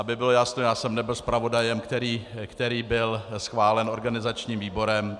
Aby bylo jasno, já jsem nebyl zpravodajem, který byl schválen organizačním výborem.